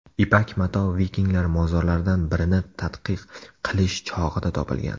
Ipak mato vikinglar mozorlaridan birini tadqiq qilish chog‘ida topilgan.